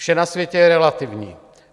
Vše na světě je relativní.